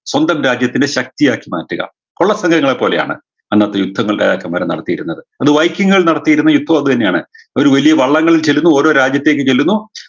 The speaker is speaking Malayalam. സ്വന്തം രാജ്യത്തിൻറെ ശക്തിയാക്കി മാറ്റുക കൊള്ള സംഘങ്ങളെ പോലെയാണ് അന്നത്തെ യുദ്ധങ്ങൾ രാജാക്കന്മാർ നടത്തിയിരുന്നത് അത് നടത്തിയിരുന്ന ഇപ്പും അത് തന്നെയാണ് അവര് വലിയ വള്ളങ്ങളിൽ ചെല്ലുന്നു ഓരോ രാജ്യത്തേക്ക് ചെല്ലുന്നു